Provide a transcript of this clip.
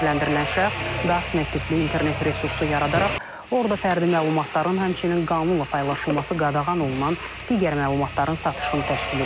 Təqsirləndirilən şəxs Darknet tipli internet resursu yaradaraq orda fərdi məlumatların, həmçinin qanunla paylaşılması qadağan olunan digər məlumatların satışını təşkil edib.